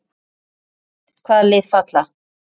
Álitið: Hvaða lið falla?